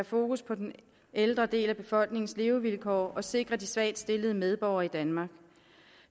fokus på den ældre del af befolkningens levevilkår og sikre de svagt stillede medborgere i danmark